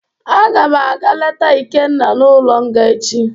Agam aga leta Ikenna n'ulo nga echi